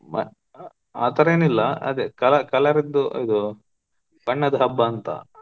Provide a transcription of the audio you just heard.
ಆ ಆತರ ಏನಿಲ್ಲ ಅದೇ colour colour ಅದ್ದು ಇದು ಬಣ್ಣದ್ ಹಬ್ಬ ಅಂತ.